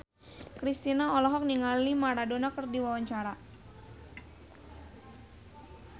Kristina olohok ningali Maradona keur diwawancara